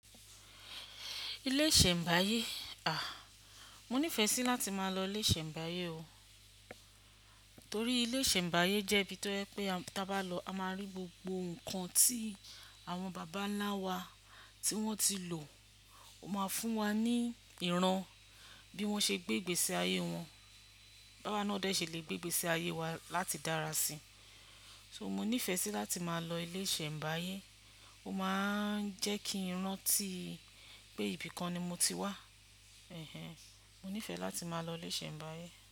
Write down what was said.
Ilé ìṣẹ̀m̀báyé àh, mo nífẹẹ sí láti máa lọ ilé ìṣẹ̀m̀báyé o. Torí ilé ìṣẹ̀m̀báyé jẹ́ ibi tó jẹ pé tí a bá lọ a máa rí gbogbo ǹkan tí àwọn bàbá ńlá wa tí wọ́n ti lò. Ó máa fún wa ní ìran bí wọ́n ṣe gbé igbèsí ayé wọn, báwa náà dẹ ṣe lè gbé igbèsi ayé wa láti dára sí. So mo nífẹẹ sí láti máa lọ ilé ìṣẹ̀m̀báyé. Ó máa ń jẹ́ kí n rántí pé ibìkan ni mo ti wà. Ẹ̀hẹ̀n. Mo nífẹẹ láti máa lọ ilé ìṣẹ̀m̀báyé.